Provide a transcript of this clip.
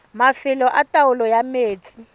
mafelo a taolo ya metsi